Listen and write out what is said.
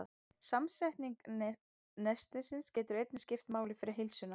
Samsetning nestisins getur einnig skipt máli fyrir heilsuna.